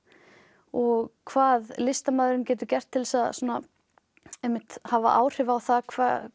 og hvað listamaðurinn getur gert til að hafa áhrif á það